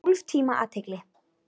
Tólf tíma athygli.